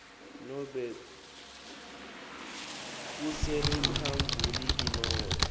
nobe kuseriphabhuliki nobe